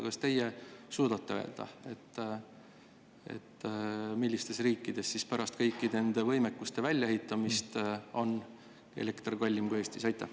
Kas teie suudate öelda, millistes riikides on pärast kõikide nende võimekuste väljaehitamist elekter kallim kui Eestis?